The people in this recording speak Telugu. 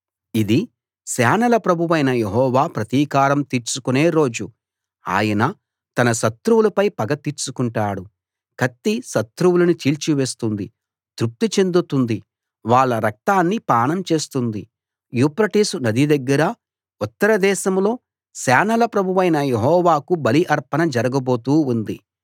ఇది సేనల ప్రభువైన యెహోవా ప్రతీకారం తీర్చుకునే రోజు ఆయన తన శత్రువులపై పగ తీర్చుకుంటాడు కత్తి శత్రువులని చీల్చివేస్తుంది తృప్తి చెందుతుంది వాళ్ళ రక్తాన్ని పానం చేస్తుంది యూఫ్రటీసు నది దగ్గర ఉత్తర దేశంలో సేనల ప్రభువైన యెహోవాకు బలి అర్పణ జరగబోతూ ఉంది